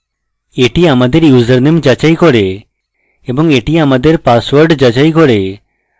that আমাদের username যাচাই করে এবং that আমাদের পাসওয়ার্ড যাচাই করে